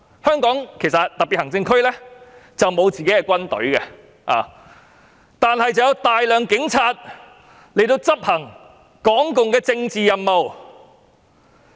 香港特別行政區沒有自己的軍隊，但有大量警察執行港共的政治任務。